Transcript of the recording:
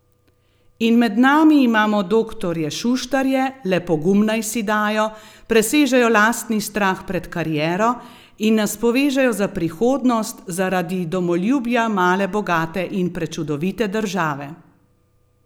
In med nami imamo doktorje Šuštarje, le pogum naj si dajo, presežejo lastni strah pred kariero, in nas povežejo za prihodnost, zaradi domoljubja male bogate in prečudovite države!